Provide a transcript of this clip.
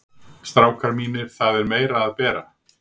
STRÁKAR MÍNIR, ÞAÐ ER MEIRA AÐ BERA.